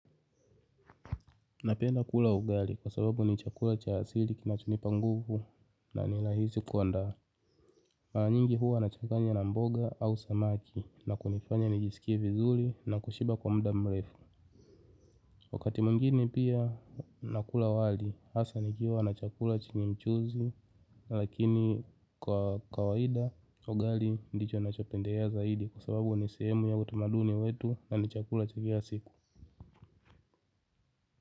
Napenda kula ugali kwa sababu ni chakula cha asili kinachonipa nguvu na ni rahisi kuandaa. Nyingi huwa nachanganya na mboga au samaki na kunifanya nijisikie vizuri na kushiba kwa muda mrefu. Wakati mwingine pia nakula wali, hasa nikiwa na chakula chenye mchuuzi lakini kwa kawaida ugali ndicho nachopendelea zaidi kwa sababu ni sehemu ya utamaduni wetu na ni chakula cha kila siku.